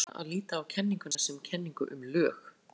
Ef til vill er nákvæmara að líta á kenninguna sem kenningu um lög.